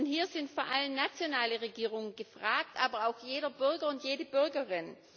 Hier sind vor allem nationale Regierungen gefragt, aber auch jeder Bürger und jede Bürgerin.